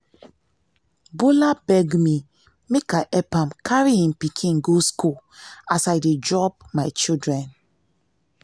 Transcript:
bola beg me make i help am carry im pikin go school as i dey drop my children